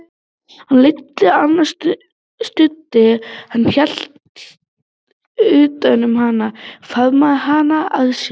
Hann leiddi hana, studdi hana, hélt utan um hana, faðmaði hana að sér.